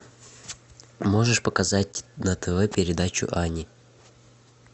можешь показать на тв передачу ани